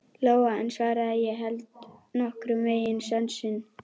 Lóa en svaraði: Ég held nokkurn veginn sönsum.